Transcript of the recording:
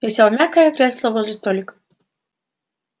я сел в мягкое кресло возле столика